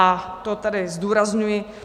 A to tady zdůrazňuji.